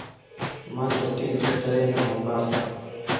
maanta tikidhka tareenka mombasa